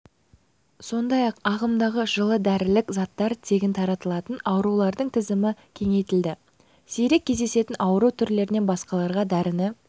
сондай-ақ ағымдағы жылы дәрілік заттар тегін таратылатын аурулардың тізімі кеңейтілді сирек кездесетін ауру түрлерінен басқаларға дәріні